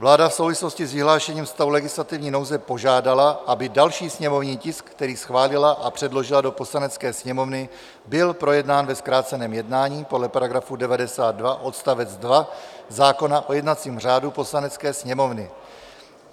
Vláda v souvislosti s vyhlášením stavu legislativní nouze požádala, aby další sněmovní tisk, který schválila a předložila do Poslanecké sněmovny, byl projednán ve zkráceném jednání podle § 99 odst. 2 zákona o jednacím řádu Poslanecké sněmovny.